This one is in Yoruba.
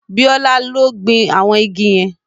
Bíọ́lá ló gbin àwọn igi yẹn